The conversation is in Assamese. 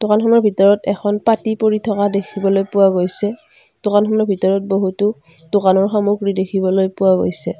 দোকানখনৰ ভিতৰত এখন পাটী পৰি থকা দেখিবলৈ পোৱা গৈছে দোকানখনৰ ভিতৰত বহুতো দোকানৰ সামগ্ৰী দেখিবলৈ পোৱা গৈছে।